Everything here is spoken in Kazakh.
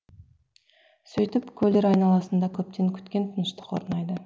сөйтіп көлдер айналасында көптеген күткен тыныштық орнайды